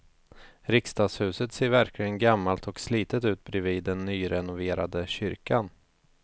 Riksdagshuset ser verkligen gammalt och slitet ut bredvid den nyrenoverade kyrkan.